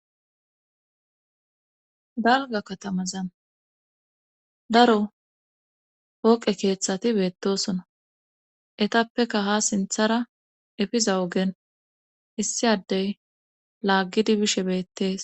dalga katamazan daro pooqe keeththati beettosona etappeka ha sinthara efiza ogen issi addey laaggidi bishe beettees